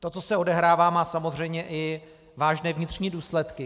To, co se odehrává, má samozřejmě i vážné vnitřní důsledky.